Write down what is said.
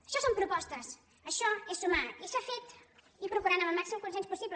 això són propostes això és sumar i s’ha fet i procurant ho amb el màxim consens possible